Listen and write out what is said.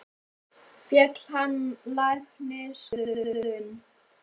Féll hann á læknisskoðun?